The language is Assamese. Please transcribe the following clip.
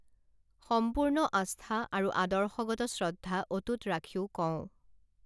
সম্পূৰ্ণ আস্থা আৰু আদৰ্শগত শ্ৰদ্ধা অটুট ৰাখিও কওঁ